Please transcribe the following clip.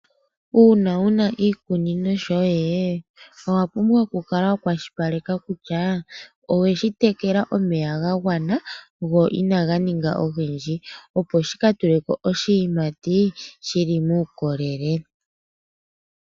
Uuna wuna iikunino yoye owapumbwa oku kala wa kwashilipaleka kutya oweshi tekela omeya gangwana go inanganinga ongendji opo shikatuleko oshiimati shili mukolele.